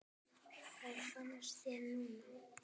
Hvað finnst þér núna?